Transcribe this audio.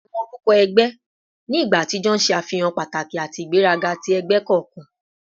Awọn orukọ ẹgbẹ ni igba atijọ ṣe afihan pataki ati igberaga ti ẹgbẹ kọọkan